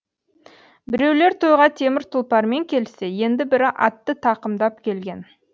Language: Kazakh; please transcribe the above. біреулер тойға темір тұлпармен келсе енді бірі атты тақымдап келген